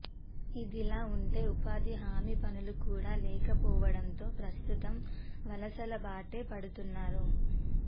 ఇదిలా ఉంటే ఉపాధి హమీ పనులు కూడ లేక పోవడంతో ప్రస్తుతం వలసల బాటే పడుతున్నారు